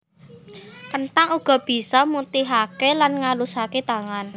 Kenthang uga bisa mutihaké lan ngalusaké tangan